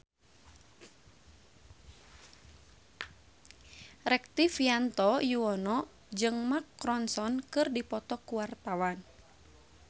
Rektivianto Yoewono jeung Mark Ronson keur dipoto ku wartawan